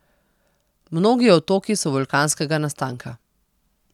Mnogi otoki so vulkanskega nastanka.